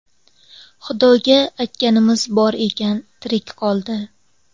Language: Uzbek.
Xudoga aytganimiz bor ekan, tirik qoldi.